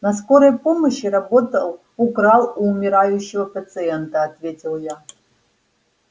на скорой помощи работал украл у умирающего пациента ответил я